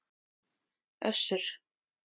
Össur